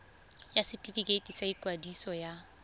ya setefikeiti sa ikwadiso ya